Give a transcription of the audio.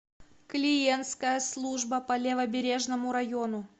клиентская служба по левобережному району